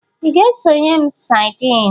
Ị ga-egonye m sadịn?